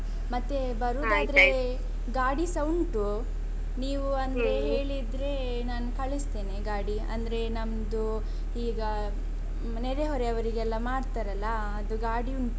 ಮತ್ತೆ ಬರುದಾದ್ರೆ ಗಾಡಿಸ ಉಂಟು, ನೀವು ಅಲ್ಲಿ ಹೇಳಿದ್ರೆ ನಾನ್ ಕಳಿಸ್ತೇನೆ ಗಾಡಿ, ಅಂದ್ರೆ ನಮ್ದು ಈಗ ನೆರೆ ಹೊರೆಯವರಿಗೆಲ್ಲ ಮಾಡ್ತಾರಲ್ಲಾ, ಅದು ಗಾಡಿ ಉಂಟು.